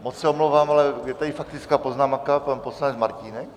Moc se omlouvám, ale je tady faktická poznámka, pan poslanec Martínek.